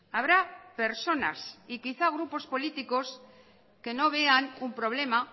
habrá personas y quizás grupos políticos que no vean un problema